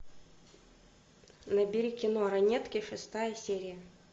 набери кино ранетки шестая серия